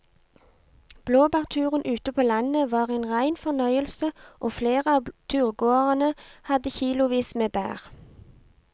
Blåbærturen ute på landet var en rein fornøyelse og flere av turgåerene hadde kilosvis med bær.